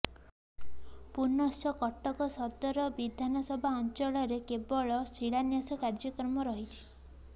ପୁନଶ୍ଚ କଟକ ସଦର ବିଧାନସଭା ଅଞ୍ଚଳରେ କେବଳ ଶିଳାନ୍ୟାସ କାର୍ଯ୍ୟକ୍ରମ ରହିଛି